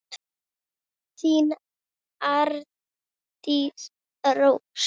Þín, Arndís Rós.